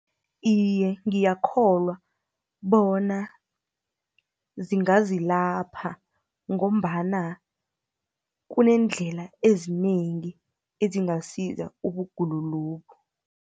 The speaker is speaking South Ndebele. Iye, ngiyakholwa bona zingazilapha, ngombana kuneendlela ezinengi, ezingasiza ubugulo lobu.